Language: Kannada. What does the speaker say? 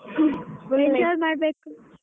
ಹ್ಮ್ enjoy ಮಾಡ್ಬೇಕು.